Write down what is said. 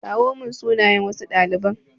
kawo mun sunayen ɗaliban.